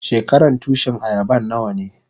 Shekaran Tushin ayaban nawa ne?